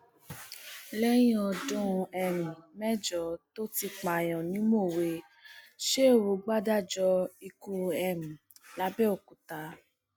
lẹyìn ọdún um mẹjọ tó ti pààyàn ni mọwé sheu gbàdájọ ikú um lápbèòkúta